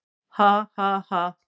Ha ha ha.